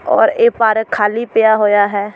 ਔਰ ਇਹ ਪਾਰਕ ਖਾਲ੍ਹੀ ਪਿਆ ਹੋਇਆ ਹੈ।